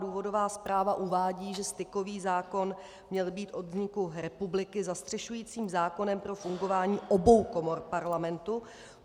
Důvodová zpráva uvádí, že stykový zákon měl být od vzniku republiky zastřešujícím zákonem pro fungování obou komor Parlamentu.